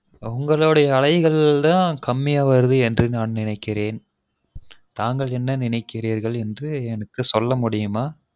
உங்களொடய அலைகள் தான் கம்மியா வருது என்று நான் நினைக்கிறேன் தாங்கள் என்ன நினைக்கிறீர்கள் என்று எனக்கு சொல்ல முடியுமா